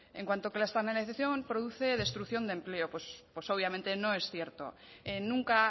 en cuando que la externalización produce destrucción de empleo obviamente no es cierto nunca